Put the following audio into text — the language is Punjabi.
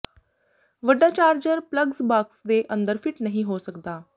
ਵੱਡਾ ਚਾਰਜਰ ਪਲੱਗਜ਼ ਬਾਕਸ ਦੇ ਅੰਦਰ ਫਿੱਟ ਨਹੀਂ ਹੋ ਸਕਦਾ